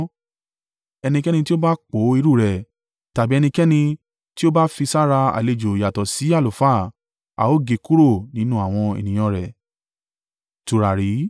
Ẹnikẹ́ni tí ó bá po irú rẹ̀, tàbí ẹnikẹ́ni tí ó bá fi sára àlejò yàtọ̀ sí àlùfáà, a ó gé e kúrò nínú àwọn ènìyàn rẹ̀.’ ”